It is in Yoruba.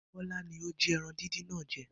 Bó̩lá ni ó jí e̩ran díndín náà je